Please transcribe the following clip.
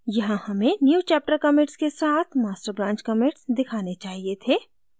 यहाँ हमें newchapter commits के साथ master branch commits दिखाने चाहिए थे